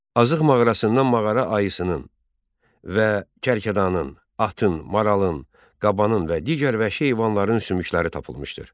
Azıq mağarasından mağara ayısının, və kərkədanın, atın, maralın, qabanın və digər vəhşi heyvanların sümükləri tapılmışdır.